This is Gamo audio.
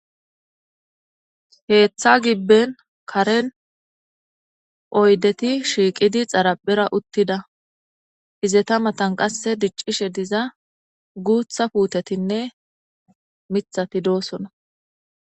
Wogga gibben karen oyddeti shiiqidi tharappeza uttida, ize matan qassi diccishe diza guutta puutettinne mittati doosona.